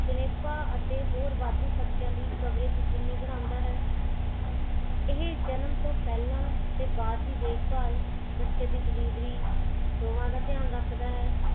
ਜਣੇਪਾ ਅਤੇ ਹੋਰ ਵਾਧੂ ਖਰਚਿਆਂ ਲਈ coverage ਯਕੀਨੀ ਬਣਾਉਂਦਾ ਹੈ। ਇਹ ਜਨਮ ਤੋਂ ਪਹਿਲਾਂ ਅਤੇ ਬਾਅਦ ਦੀ ਦੇਖ ਬਾਲ ਬਚੇ ਦੀ delievery ਦੋਹਾਂ ਦਾ ਧਿਆਨ ਰਖਦਾ ਹੈ